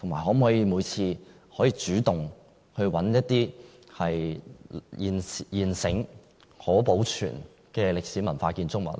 可否主動尋找一些現存並可保存的歷史文化建築物呢？